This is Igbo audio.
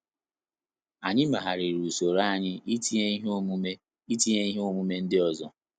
Anyị meghariri usoroanyi itinye ihe omume itinye ihe omume ndị ozo